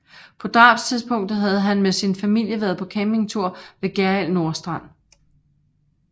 På drabstidspunktet havde han med sin familie været på camping ved Gjerrild Nordstrand